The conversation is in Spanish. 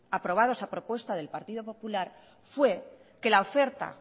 aprobados a propuesta del partido popular fue que la oferta